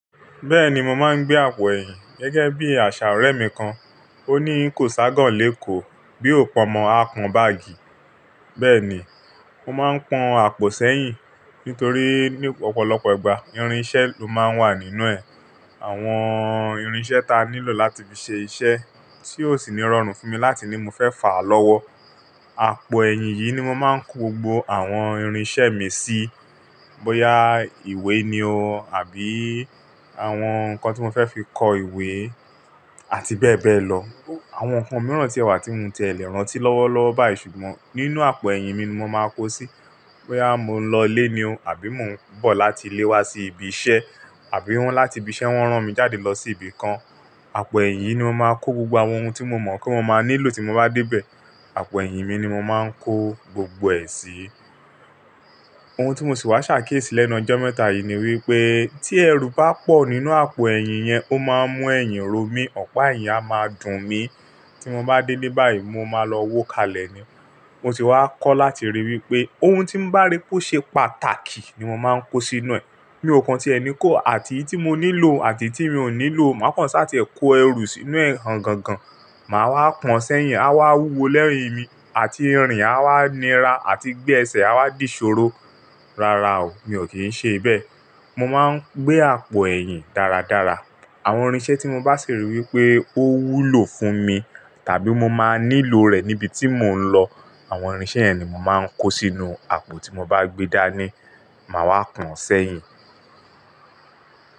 Bẹ́ẹ̀ni, mo máa ń gbé àpò ẹ̀yìn gẹ́gẹ́ bí àṣà ọ̀rẹ́ mi kan. Ó ní kò ságàn léko bí o p'ọmọ a pọn báàgì. Bẹ́ẹ̀ ni, mo máa ń pọn àpò sẹ́yìn nítorí ní ọ̀pọ̀lọpọ̀ ìgbà irinṣẹ́ ló máa ń wà nínú ẹ̀. Àwọn irinṣẹ́ ta nílò láti fi ṣe iṣẹ́ tí ó sì ní rọrùn fún mi láti ní mo fẹ́ fà á lọ́wọ́. Àpò ẹ̀yìn yìí ni mo máa ń kó gbogbo àwọn irinṣẹ́ mi sí. Bóyá ìwé ni o àbí àwọn nǹkan tí mo fẹ́ fi kọ ìwé àti bẹ́ẹ̀ bẹ́ẹ̀ lọ. Àwọn nǹkan mìíràn tí èwà tí mo ti ẹ lè rántí lọ́wọ́lọ́wọ́ báyìí ṣùgbọ́n nínú àpò ẹ̀yìn mi ni mo máa kó o sí. Bóyá mo ń lọlé ni o àbí mo ń bọ̀ láti ilé wá sí ibi iṣẹ́ àbí wọ́n láti ibi iṣẹ́ wọ́n rán mi jáde lọ sí ibi kan. Àpò ẹ̀yìn yìí ni mo máa kó gbogbo àwọn ohun tí mo mọ̀ pe mo máa nílò tí mo bá dé bẹ̀. Àpò ẹ̀yìn mi ni mo máa ń kó gbogbo ẹ̀ sí. Ohun tí mo sì wá ṣàkíyèsí lẹ́nu ọjọ́ mẹ́ta yìí ni wípé tí ẹrù bá pọ̀ nínú àpò ẹ̀yìn yẹn, ó máa ń mú ẹ̀yìn ro mí, ọ̀pá ẹ̀yìn a máa dùn mí. Tí mo bá dé'le bàyí mo máa lọ wó kalẹ̀ ni. Mo sì wá kọ́ láti rí wípé ohun tí ń bá ri pó ṣe pàtàkì ni mo máa ń kó sínú ẹ̀. Mi ò kan tí ẹni kó àti iyití mo nílò àti tí mi ò nílò. Máa kan ṣáà tìẹ kó ẹrù sínú ẹ̀ gangangan. Máa wá pọn sẹ́yìn, á wá wúwo lẹ́yìn-ín mi àti irin á wá nira àti gbẹ ẹsẹ̀ á wá dì ṣòro. Rara o, mi ò kí ń ṣe bẹ́ẹ̀. Mo máa ń gbé àpò ẹ̀yìn dáradára. Àwọn irinṣẹ́ tí mo bá sì rí wípé ó wúlò fún mi tàbí mo máa nílò rẹ̀ níbi tí mò ń lọ. Àwọn irinṣẹ́ yẹn ni mo máa ń kó sínú àpò tí mo bá gbé dání. Máa wá pọn sẹ́yìn.